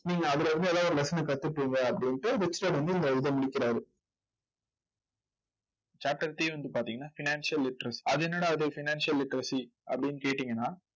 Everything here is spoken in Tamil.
நீங்க அதில இருந்து ஏதாவது ஒரு lesson அ கத்துப்பீங்க அப்படின்னுட்டு ரிச் டாட் வந்து இந்த இதை முடிக்கிறாரு சாக்ரடீஸ் வந்து பாத்தீங்கன்னா financial literacy அது என்னடா இது financial literacy அப்படின்னு கேட்டீங்கன்னா